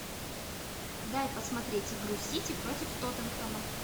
дай посмотреть игру сити против тоттенхэма